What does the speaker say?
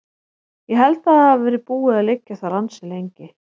Ég held að það hafi verið búið að liggja þar ansi lengi.